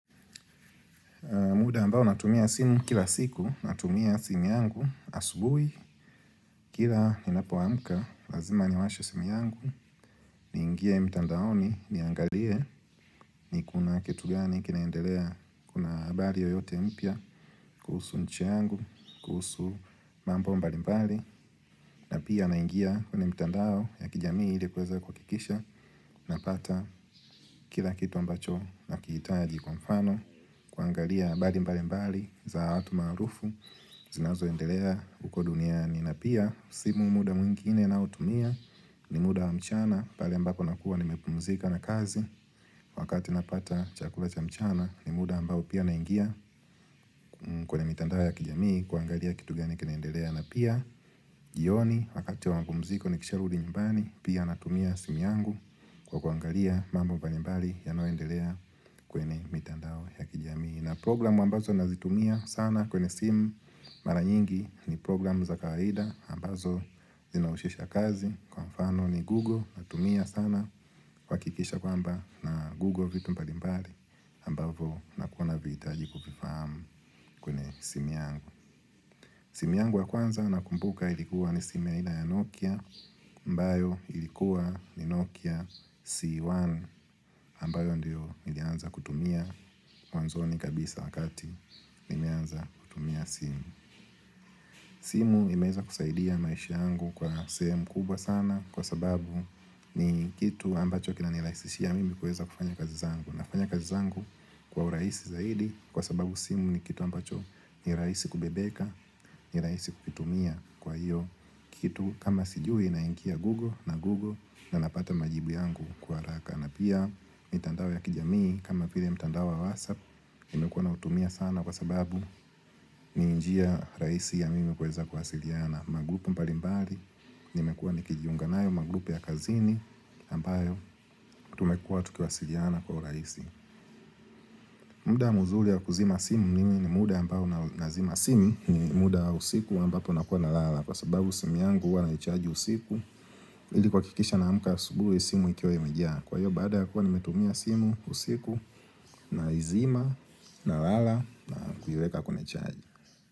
Muda ambao natumia simu kila siku, natumia simu yangu, asubui, kila ninapoamka, lazima niwashe simu yangu, niingie mtandaoni, niangalie, ni kuna kitu gani, kinaendelea, kuna habari yoyote mpya, kuhusu nchi yangu, kuhusu mambo mbali mbali, na pia naingia kuona mtandao ya kijamii ili kweza kwakikisha, napata kila kitu ambacho nakihitaji kwa mfano, kwangalia abali mbali mbali, za watu maarufu, zinazoendelea uko duniani na pia simu muda mwingine nautumia ni muda wa mchana pale ambapo nakuwa nimepumzika na kazi wakati napata chakula cha mchana ni muda ambao pia naingia kwenye mitandao ya kijamii kuangalia kitu gani kinaendelea na pia jioni wakati wa mapumziko nikisha rudi nyimbani pia natumia simu yangu kwa kuangalia mambo mbalimbali yanayoendelea kwenye mitandao ya kijamii na program ambazo nazitumia sana kwenye simu mara nyingi ni program za kawaida ambazo zinaushisha kazi kwa mfano ni Google natumia sana kwakikisha kwamba na Google vitu mpalimbali ambavo nakuwa naviitaji kuvifahamu kwenye simu yangu simu yangu wa kwanza nakumbuka ilikuwa ni simu ya aina ya Nokia mbayo ilikuwa ni Nokia C1 ambayo ndio nilianza kutumia mwanzoni kabisa wakati nimeanza kutumia simu simu imeeza kusaidia maishi yangu kwa sehemu kubwa sana kwa sababu ni kitu ambacho kinanilaisishia mimi kueza kufanya kazi zangu. Nafanya kazi zangu kwa uraisi zaidi kwa sababu simu ni kitu ambacho ni raisi kubebeka, niraisi kukitumia kwa hiyo kitu kama sijui naingia google na google na napata majibu yangu kwa raka. Na pia mitandao ya kijamii kama file mitandao wasap nimekuwa nautumia sana kwa sababu ni njia raisi ya mimi kuweza kwasiliyana Magrupu mbalimbali Nimekuwa nikijiunga nayo magrupu ya kazini ambayo tumekuwa tukiwasiliyana kwa uraisi muda muzuli ya kuzima simu mimi ni muda ambao nazima simu muda usiku ambapo nakuwa na lala Kwa sababu simu yangu uwa aichaji usiku ili kwakikisha naamka asubuhi simu ikiwa imejaa Kwa hiyo baada ya kuwa nimetumia simu usiku naizima, nalala na kuyueka kunechaji.